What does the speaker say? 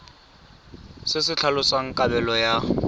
se se tlhalosang kabelo ya